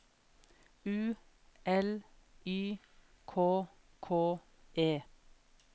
U L Y K K E